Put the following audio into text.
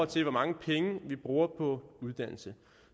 til hvor mange penge vi bruger på uddannelse